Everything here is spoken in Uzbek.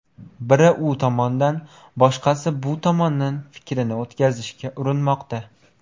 Biri u tomondan, boshqasi bu tomondan fikrini o‘tkazishga urinmoqda.